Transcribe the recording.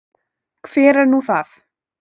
Hver er nú það?